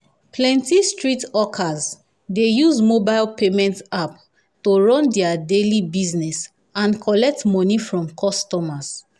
plenty street hawkers dey use mobile payment app to run their daily business and collect money from customers.